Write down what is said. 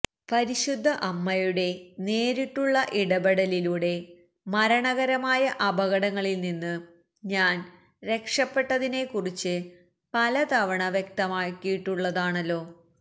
പരിശുദ്ധ അമ്മയുടെ നേരിട്ടുള്ള ഇടപെടലിലൂടെ മരണകരമായ അപകടങ്ങളില്നിന്ന് ഞാന് രക്ഷപ്പെട്ടതിനെക്കുറിച്ച് പലതവണ വ്യക്തമായിട്ടുള്ളതാണല്ലോ